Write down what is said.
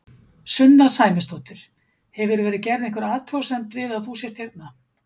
Sunna Sæmundsdóttir: Hefur verið gerð einhver athugasemd við að þú sért hérna?